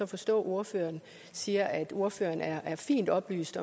forstå at ordføreren siger at ordføreren er er fint oplyst